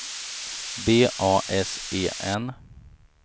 B A S E N